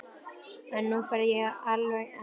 En nú fer ég alveg að hætta þessu.